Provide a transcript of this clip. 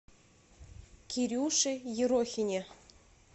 кирюше ерохине